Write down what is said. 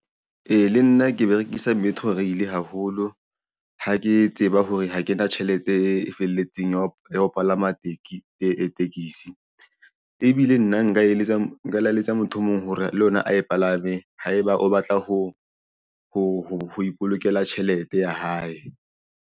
Ee, le nna ke berekisa Metrorail haholo ha ke tseba hore ha ke na tjhelete e felletseng ya ho palama tekesi ebile nna nka eletsa motho o mong hore le ena a e palame haeba o batla ho ipolokela tjhelete ya hae.